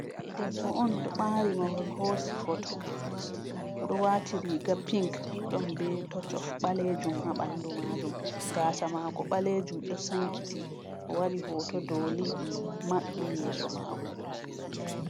Debbo on ɗo ɓaari mahol hoosi foto. Oɗo waati riga pink, ɗon be tocof ɓaleejum haa ɓandu maajum, gaasa maako ɓaleejum ɗo sankiti, o waɗi hooto doli maɓɓi yeeso maako.